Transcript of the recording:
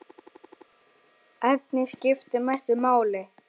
Efnin skipta mestu máli.